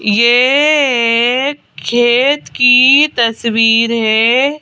ये एक खेत की तस्वीर है।